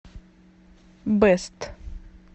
бэст